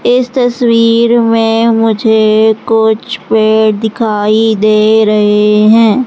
इस तस्वीर में मुझे कुछ पेड़ दिखाई दे रहे हैं।